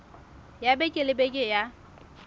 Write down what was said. ya beke le beke ya